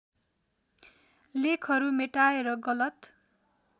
लेखहरू मेटाएर गलत